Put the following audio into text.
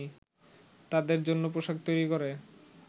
তাদের জন্য পোশাক তৈরি করে